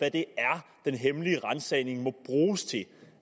hvad det er den hemmelige ransagning må bruges til